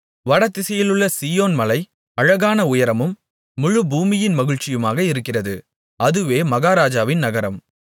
வடதிசையிலுள்ள Zion மலை அழகான உயரமும் முழு பூமியின் மகிழ்ச்சியுமாக இருக்கிறது அதுவே மகாராஜாவின் நகரம்